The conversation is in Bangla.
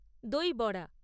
দই বড়া